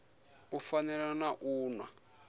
u fana na u nwa